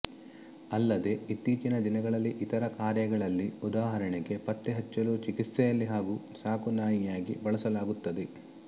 ಅಲ್ಲದೇ ಇತ್ತೀಚಿನ ದಿನಗಳಲ್ಲಿ ಇತರ ಕಾರ್ಯಗಳಲ್ಲಿ ಉದಾಹರಣೆಗೆ ಪತ್ತೆಹಚ್ಚಲು ಚಿಕಿತ್ಸೆಯಲ್ಲಿ ಹಾಗು ಸಾಕು ನಾಯಿಯಾಗಿ ಬಳಸಲಾಗುತ್ತದೆ